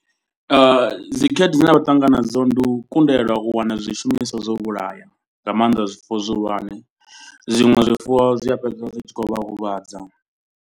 Dzikhaedu dzine vha ṱangana nadzo ndi u kundelwa u wana zwishumiswa zwo vhulaya. Nga maanda zwifuwo zwihulwane zwiṅwe zwifuwo zwi a fhedza zwi tshi khou vha huvhadza.